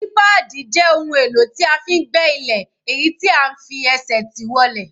Sípáádì jẹ́ ohun èlò tí a fi ń gbẹ́ ilẹ̀, èyí tí à ń fi ẹsẹ̀ tì wọlẹ̀.